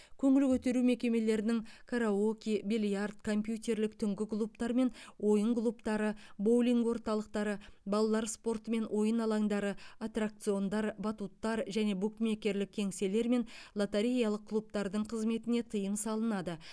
көңіл көтеру мекемелерінің караоке бильярд компьютерлік түнгі клубтар мен ойын клубтары боулинг орталықтары балалар спорты мен ойын алаңдары аттракциондар батуттар және букмекерлік кеңселер мен лотереялық клубтардың қызметіне тыйым салынады